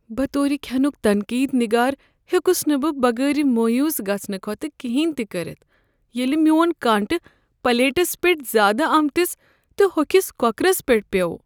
بطور كھینُک تنقید نِگار، ہیوٚکس نہٕ بہٕ بغٲر مویوٗس گژھنہٕ كھوتہٕ کٮ۪نٛہہ تہِ كرِتھ ییٚلہ میٛون کانٛٹہٕ پلیٹس پٹھ زیادٕ آمتس تہٕ ہوٚکھس کۄکرس پٮ۪ٹھ پیوٚو۔